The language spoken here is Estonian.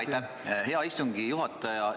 Aitäh, hea istungi juhataja!